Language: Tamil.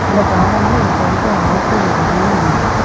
இந்த கார்டன்ல இப்போதைக்கு ஆட்கள் யாருமே இல்ல.